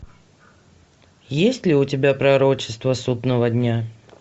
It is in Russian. есть ли у тебя пророчество судного дня